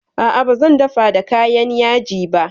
A'a ba zan dafa da kayan yaji ba